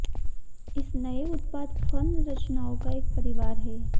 इस नए उत्पाद फर्न रचनाओं का एक परिवार है